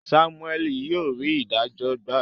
Samuel yíò rí idajo gba